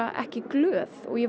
ekki glöð ég